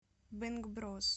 бэнгброс